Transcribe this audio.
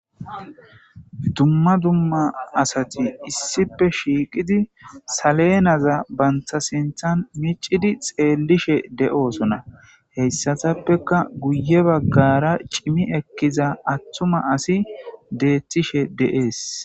Dumma dumma asati issipe shiiqida salenda banta sinthan miiccidi xeelishe de'osona. Hessatapeka guye baggara cimmi ekkiza atuma asi de'ees